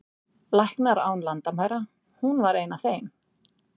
Læknar án landamæra, hún var ein af þeim.